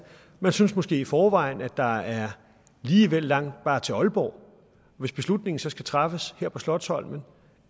man synes måske i forvejen at der er lige vel langt bare til aalborg hvis beslutningen så skal træffes her på slotsholmen